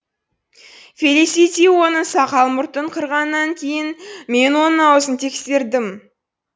фелисити оның сақал мұртын қырғаннан кейін мен оның аузын тексердім